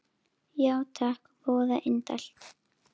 Já takk, voða indælt